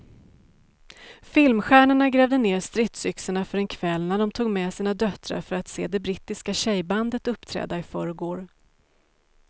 Filmstjärnorna grävde ned stridsyxorna för en kväll när de tog med sina döttrar för att se det brittiska tjejbandet uppträda i förrgår.